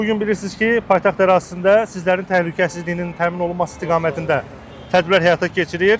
Bu gün bilirsiz ki, paytaxt ərazisində sizlərin təhlükəsizliyinin təmin olunması istiqamətində tədbirlər həyata keçirilir.